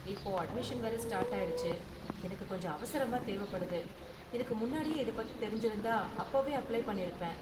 இப்போ அட்மிஷன் வேற ஸ்டார்ட் ஆயிடுச்சு, எனக்கு கொஞ்சம் அவசரமா தேவப்படுது, எனக்கு முன்னாடியே இத பத்தி தெரிஞ்சிருந்தா அப்போவே அப்ளை பண்ணிருப்பேன்.